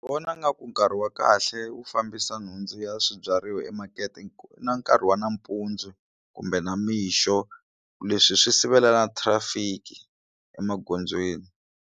Vona nga ku nkarhi wa kahle wo fambisa nhundzu ya swibyariwa emakete na nkarhi wa nampundzu kumbe namixo leswi swi sivela na traffic emagondzweni.